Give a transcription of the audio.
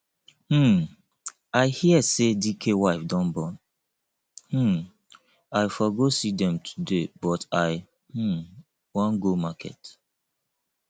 um i hear say dike wife don born um i for go see dem today but i um wan go market